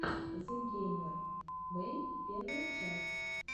зэгеймербэй первая часть